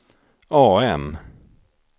AM